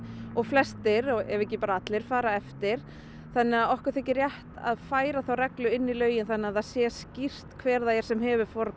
og flestir ef ekki allir fara eftir þannig að okkur þykir rétt að færa þá reglu inn í lögin þannig að það sé skýrt hver það er sem hefur forgang